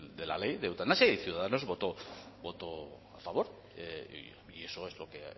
de la ley de eutanasia y ciudadanos votó a favor y eso es lo que